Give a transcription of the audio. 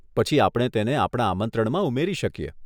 પછી આપણે તેને આપણા આમંત્રણમાં ઉમેરી શકીએ.